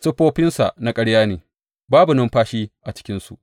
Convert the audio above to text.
Siffofinsa na ƙarya ne; babu numfashi a cikinsu.